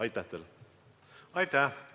Aitäh!